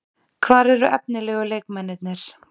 Hvar eru efnilegu leikmennirnir?